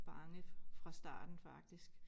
Bange fra starten faktisk